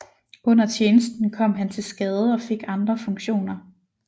Under tjenesten kom han til skade og fik andre funktioner